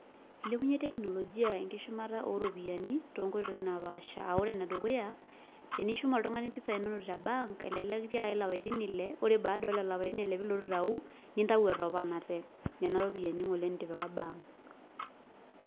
Eilepunye teknolojia enkishumata oo ropiyiani too nkoitoi naa pasha aa ore enedukuya tenishum oltungani mpisai inonok te bank elelek kitiakaki lapaitin ile ore baada oo lelo apaitin ile pee ilotu aitayu nintayu etoponate nena ropiyiani ngole nitipika bank.